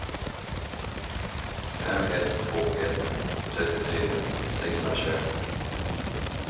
fem ett två ett trettiotre sexhundratjugoett